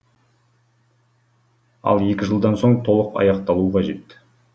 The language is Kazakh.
ал екі жылдан соң толық аяқталуы қажет